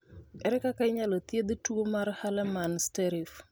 Ere kaka inyalo thiedh tuwo mar Hallermann Streiff?